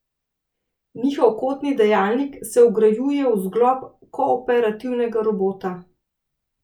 Njihov kotni dajalnik se vgrajuje v zglob kooperativnega robota.